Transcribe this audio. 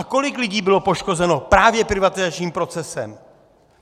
A kolik lidí bylo poškozeno právě privatizačním procesem?